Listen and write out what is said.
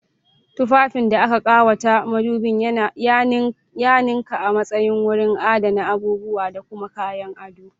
Tufafin da aka ƙawata madubi ya ninka a matsayin wurin adana abubuwa da kuma kayan ado.